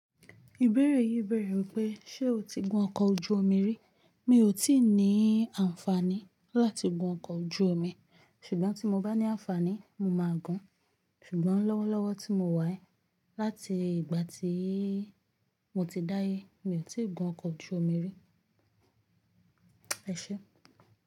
Ìbéèrè yìí bẹ̀rẹ̀ wípé ṣe o ti gun ọkọ̀ ojú omi rí? Mi ò tíì ní àǹfààní láti gun ọkọ̀ ojú omi, ṣùgbọ́n tí mo bá ní àǹfààní, mo máa gun. Ṣùgbọ́n lọ́wọ́lọ́wọ́ tí mo wà ẹ́, láti ìgbà tí mo ti dáyé mi ò tí ì gun ọkọ̀ ojú omi rí. Ẹ ṣé.